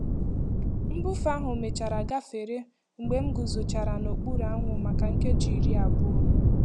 Mbufe ahụ mechara gafere mgbe m guzochara n'okpuru anwụ maka nkeji iri abụọ.